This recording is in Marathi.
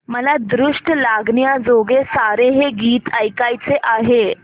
मला दृष्ट लागण्याजोगे सारे हे गीत ऐकायचे आहे